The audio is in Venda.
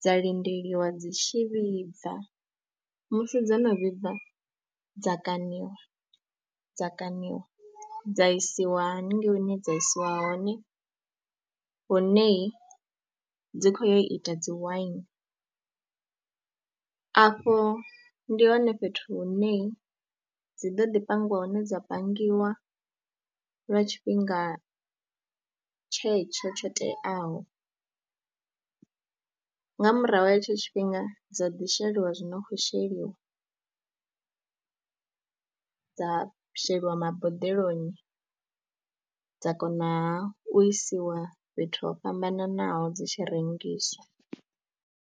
dza lindeliwa dzi tshi vhibva, musi dzo no vhibva dza kaṋiwa, dza kaṋiwa dza isiwa haningei hune dza isiwa hone hunei dzi khou ya u ita dzi waini. Afho ndi hone fhethu hune dzi ḓo ḓi pangiwa hune dza pangiwa lwa tshifhinga tshetsho tsho teaho, nga murahu ha hetsho tshifhinga dza ḓi sheliwa zwi no khou sheliwa, dza sheliwa maboḓeloni dza konaha u isiwa fhethu ho fhambananaho dzi tshi rengiswa.